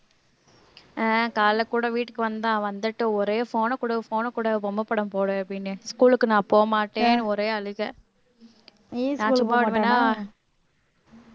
அஹ் காலையில கூட வீட்டுக்கு வந்தான் வந்துட்டு ஒரே phone அ குடு phone அ குடு பொம்மை படம் போடு அப்படின்னேன் school க்கு நான் போக மாட்டேன் ஒரே அழுகை